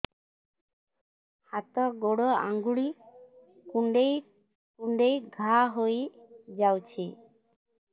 ହାତ ଗୋଡ଼ ଆଂଗୁଳି କୁଂଡେଇ କୁଂଡେଇ ଘାଆ ହୋଇଯାଉଛି